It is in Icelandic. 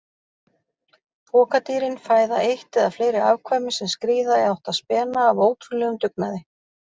Pokadýrin fæða eitt eða fleiri afkvæmi sem skríða í átt að spena af ótrúlegum dugnaði.